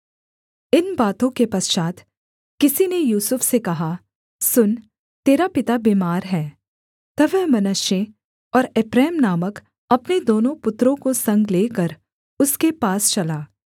इन बातों के पश्चात् किसी ने यूसुफ से कहा सुन तेरा पिता बीमार है तब वह मनश्शे और एप्रैम नामक अपने दोनों पुत्रों को संग लेकर उसके पास चला